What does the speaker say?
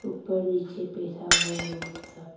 ऊपर नीचे बैठा हुआ है वो लोग सब।